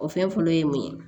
O fɛn fɔlɔ ye mun ye